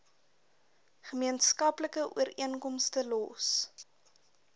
gemeenskaplike ooreenkomste los